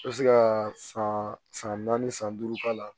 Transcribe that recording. I bɛ se ka san san naani san duuru k'ala